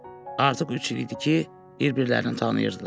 Artıq üç il idi ki, bir-birlərini tanıyırdılar.